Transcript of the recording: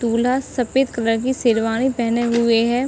दूल्हा सफ़ेद कलर की शेरवानी पहने हुए है।